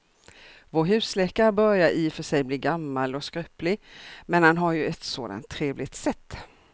Vår husläkare börjar i och för sig bli gammal och skröplig, men han har ju ett sådant trevligt sätt!